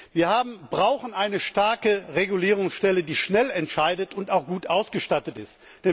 Wir brauchen eine starke Regulierungsstelle, die schnell entscheidet und auch gut ausgestattet ist.